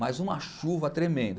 Mas uma chuva tremenda.